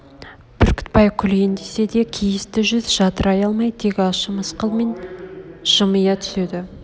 бүркітбай күлейін десе де кейісті жүз жадырай алмай тек ащы мысқылмен жымия түседі